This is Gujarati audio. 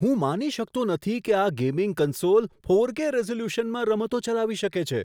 હું માની શકતો નથી કે આ ગેમિંગ કન્સોલ ફોરકે રિઝોલ્યુશનમાં રમતો ચલાવી શકે છે.